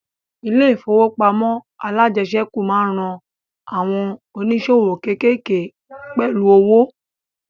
Ilẹ̀ ìfowópamọ́ alájẹsẹ́kù máa ń ran àwọn ònísòwò kékéèké pẹ̀lú owo